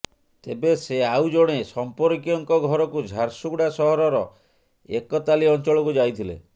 ତେବେ ସେ ଆଉ ଜଣେ ସମ୍ପର୍କୀୟଙ୍କ ଘରକୁ ଝାରସୁଗୁଡା ସହରର ଏକତାଲି ଅଞ୍ଚଳକୁ ଯାଇଥିଲେ